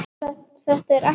Þetta er ekkert mál.